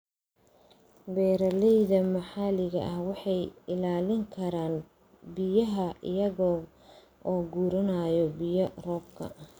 Beeralayda maxalliga ahi waxay ilaalin karaan biyaha iyaga oo guranaya biyaha roobka.